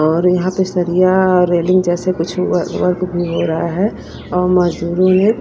और यहां पे सरिया रेलिंग जैसे कुछ व वर्क भी हो रहा है और मजदूर है।